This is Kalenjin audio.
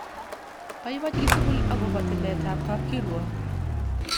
Paipai chi tukul akopo tilet ap kapkirwok.